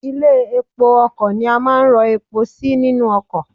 Ilé epo ọkò ni a máa ń ro epo sí nínú okò